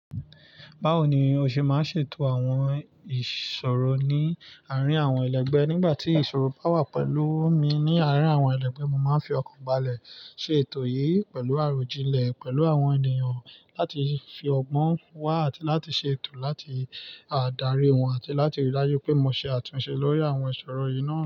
Báwo ni o ṣe máa ṣe ètò àwọn ìṣòro ní àárín àwọn ẹlẹgbẹ́? Nígbà tí ìṣòro bá wà pẹ̀lú mi ní àárín àwọn ẹlẹgbẹ́, mo máa fi ọkàn balẹ̀ ṣe ètò yìí pẹ̀lú àròjinlẹ̀ pẹ̀lú àwọn ènìyàn láti fi ọgbọ́n wá àti láti ṣe ètò láti dárí wọn àti láti rí i daju pé mo ṣe àtúnṣe lórí àwọn ìṣòro yìí náà.